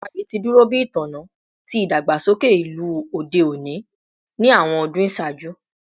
GRA ti duro bi itanna ti idagbasoke ilu ode oni ni awọn ọdun iṣaaju